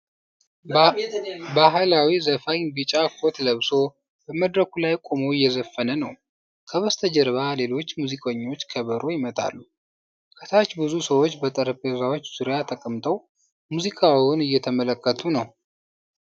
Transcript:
ባህላዊ ዘፋኝ ቢጫ ኮት ለብሶ በመድረኩ ላይ ቆሞ እየዘፈነ ነው። ከበስተጀርባ ሌሎች ሙዚቀኞች ከበሮ ይመታሉ። ከታች ብዙ ሰዎች በጠረጴዛዎች ዙሪያ ተቀምጠው ሙዚቃውን እየተመለከቱ ነው።